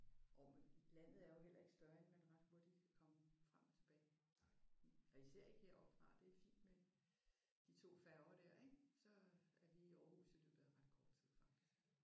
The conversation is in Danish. Jo men landet er jo heller ikke større end at man ret hurtigt kan komme frem og tilbage. Og især ikke heroppe fra. Det er fint med de 2 færger der ik? Så er vi i Aarhus i løbet af ret kort tid faktisk